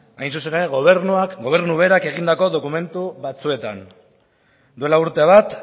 hain zuzen ere gobernuak berak egindako dokumentu batzuetan duela urte bat